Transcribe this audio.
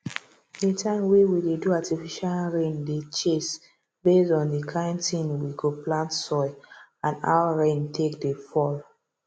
the time wey we dey do artificial rain dey chase base on the kind thing we go plant soil and how rain take dey fall